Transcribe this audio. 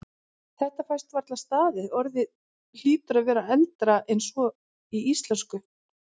Þetta fæst varla staðist, orðið hlýtur að vera eldra en svo í íslensku.